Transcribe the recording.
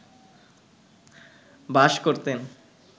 বাস করতেন